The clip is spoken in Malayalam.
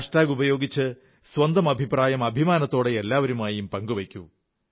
ഹാഷ്ടാഗ് ഉപയോഗിച്ച് സ്വന്തം അഭിപ്രായം അഭിമാനത്തോടെ എല്ലാവരുമായി പങ്കുവയ്ക്കൂ